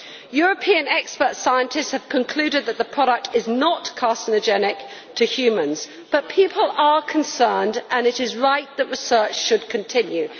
European expert scientists have concluded that the product is not carcinogenic to humans, but people are concerned and it is right that research should continue.